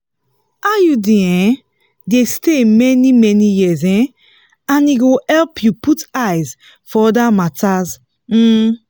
iud um dey stay many-many years um and e go help you put eyes for other matters. um